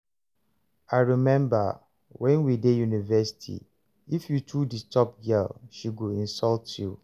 I rememba wen we dey university, if you too disturb girl she go insult you